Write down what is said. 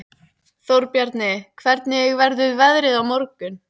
Þórbjarni, hvernig verður veðrið á morgun?